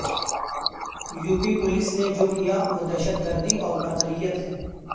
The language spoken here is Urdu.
یوپی پولیس نے جو کیا وہ دہشت گردی اور بربریت ہے